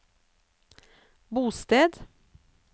bosted